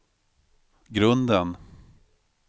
grunden